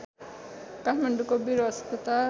काठमाडौँको वीर अस्पताल